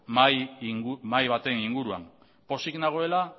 mahai baten inguruan pozik nagoela